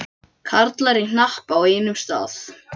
Karlar í hnapp á einum stað.